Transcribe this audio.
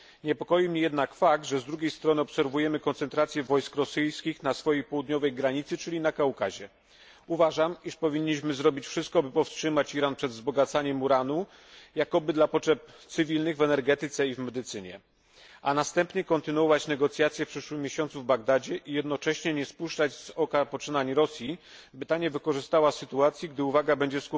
Niepokoi mnie jednak fakt, że z drugiej strony obserwujemy koncentrację wojsk rosyjskich na południowej granicy Rosji, czyli na Kaukazie. Uważam, iż powinniśmy zrobić wszystko, by powstrzymać Iran przed wzbogacaniem uranu jakoby dla potrzeb cywilnych w energetyce i w medycynie a następnie kontynuować negocjacje w przyszłym miesiącu w Bagdadzie i jednocześnie nie spuszczać z oka poczynań Rosji, by ta nie wykorzystała sytuacji, gdy uwaga będzie